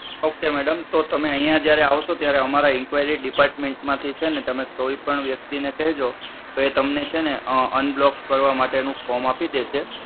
okay madam, તો તમે અહીંયા જ્યારે આવશો ત્યારે અમારા inquiry department માંથી છે ને તમે કોઈ પણ વ્યક્તિ ને કહેજો તો તમને છે ને unblock કરવા માટે નું form આપી દેસે